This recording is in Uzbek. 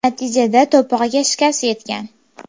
Natijada to‘pig‘iga shikast yetgan.